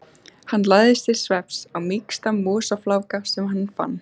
Hann lagðist til svefns á mýksta mosafláka sem hann fann.